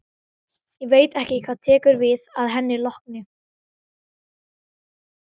Ég veit ekki hvað tekur við að henni lokinni.